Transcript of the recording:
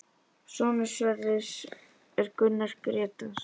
Sonur Sverris er Gunnar Grétar.